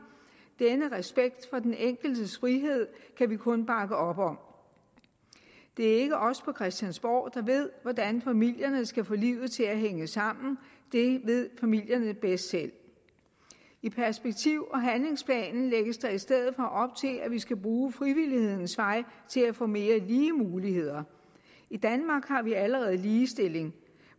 denne respekt for den enkeltes frihed kan vi kun bakke op om det er ikke os på christiansborg der ved hvordan familierne skal få livet til at hænge sammen det ved familierne bedst selv i perspektiv og handlingsplanen lægges der i stedet for op til at vi skal bruge frivillighedens vej til at få mere lige muligheder i danmark har vi allerede ligestilling